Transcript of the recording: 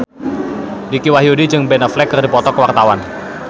Dicky Wahyudi jeung Ben Affleck keur dipoto ku wartawan